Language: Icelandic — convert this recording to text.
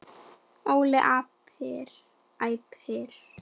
Óli æpir.